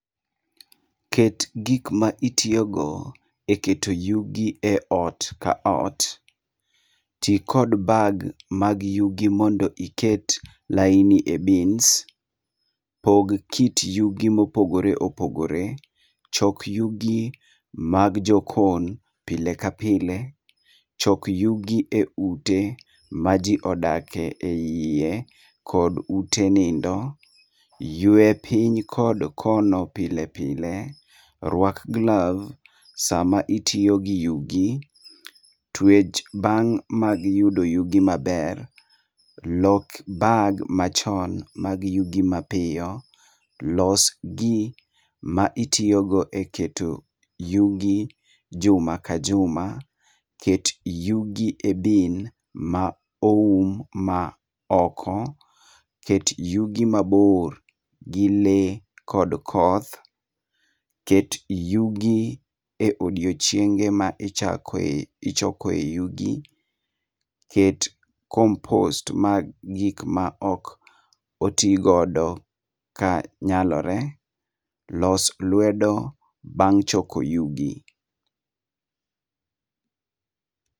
Ket gikma itiyogo e keto yugi e ot ka ot, ti kod bag mag yugi mondo iket laini e bins, pog kit yugi mopogore opogore, chok yugi mag jokon pile ka pile, chok yugi e ute ma ji odake e iye kod ute nindo, ywe piny kod kono pile pile. Rwak gloves sama itiyo gi yugi, twech bang' mag yudo yugi maber, lok bag machon mag yugi mapiyo, losgi ma itiyogo e keto yugi juma ka juma, ket yugi e bin ma oum ma oko, ket yugi maber gi lee kod koth, ket yugi e odiochienge ma ichokoe yugi, ket compost ma gik maok otigodo kanyalore, los lwedo bang' choko yugi.